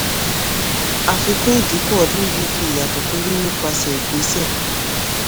àfikún ìdínkù ọdún yìí fi ìyàtọ̀ tó rí nípasẹ̀ ìgbésẹ̀.